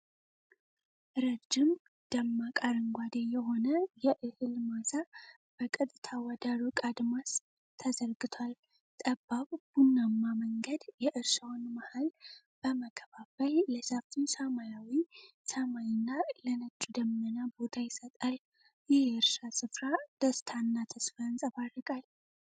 ረጅም፣ ደማቅ አረንጓዴ የሆነ የእህል ማሳ በቀጥታ ወደ ሩቅ አድማስ ተዘርግቷል። ጠባብ፣ ቡናማ መንገድ የእርሻውን መሃል በመከፋፈል ለሰፊው ሰማያዊ ሰማይና ለነጩ ደመና ቦታ ይሰጣል። ይህ የእርሻ ስፍራ ደስታና ተስፋ ያንጸባርቃል።